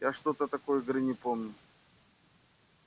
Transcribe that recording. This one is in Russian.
я что-то такой игры не помню